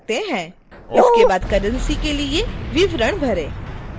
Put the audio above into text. इसके बाद currency के लिए विवरण भरें